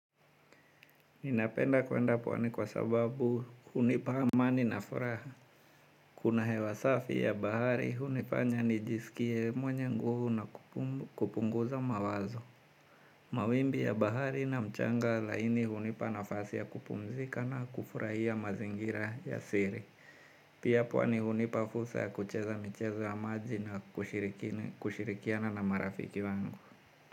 Ninapenda kuenda pwani kwa sababu hunipa amani na furaha. Kuna hewa safi ya bahari hunifanya nijisikie mwenye nguvu na kupunguza mawazo. Mawimbi ya bahari na mchanga laini hunipa nafasi ya kupumzika na kufurahia mazingira ya siri. Pia pwani hunipa fursa ya kucheza michezo ya maji na kushirikiana na marafiki wangu.